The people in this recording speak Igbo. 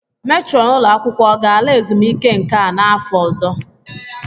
Metrọn ụlọ akwụkwọ ọ ga-ala ezumike nka n'afọ ọzọ?